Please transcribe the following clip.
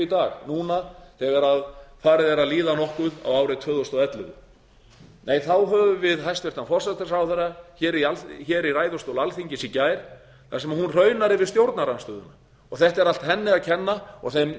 í dag núna þegar farið er að líða nokkuð á árið tvö þúsund og ellefu nei þá höfum við hæstvirtan forsætisráðherra í ræðustól alþingis í gær þar sem hún hraunaði yfir stjórnarandstöðuna og þetta er allt henni að kenna og þeim